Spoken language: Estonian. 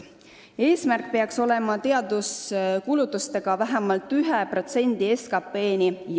Eesmärk peaks olema jõuda teaduskulutustega vähemalt 1%-ni SKT-st.